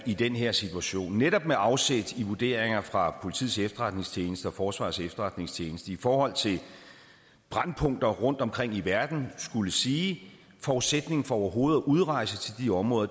i den her situation netop med afsæt i vurderinger fra politiets efterretningstjeneste og forsvarets efterretningstjeneste i forhold til brændpunkter rundtomkring i verden skulle sige at forudsætningen for overhovedet at udrejse til de områder